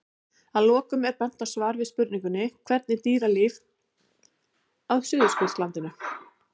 Að lokum er bent á svar við spurningunni Hvernig er dýralíf á Suðurskautslandinu?